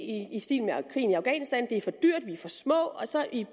i i stil med krigen i afghanistan det er for dyrt vi er for små og så i